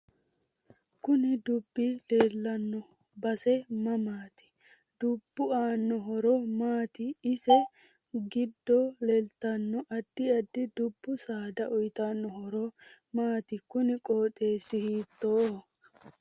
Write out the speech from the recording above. Kooni duubi leelanno base mamaati dubbu aano horo maati isi giddo leeltanno addi addi dubbu saada uyiitanno horo maati kuni qooxeesi hiitooho